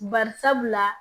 Barisabula